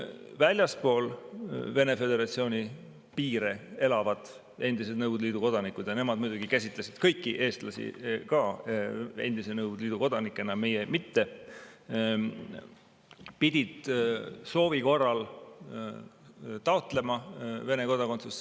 Väljaspool Vene föderatsiooni piire elavad endised Nõukogude Liidu kodanikud – ja nemad muidugi käsitlesid kõiki eestlasi ka endise Nõukogude Liidu kodanikena, meie mitte – pidid soovi korral taotlema Vene kodakondsust.